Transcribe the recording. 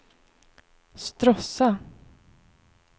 Stråssa